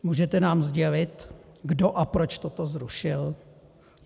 Můžete nám sdělit, kdo a proč toto zrušil?